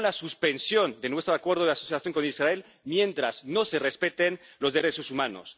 con la suspensión de nuestro Acuerdo de Asociación con Israel mientras no se respeten los derechos humanos